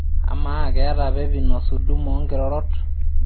amaa keeta pepinos hudama oo inkirorot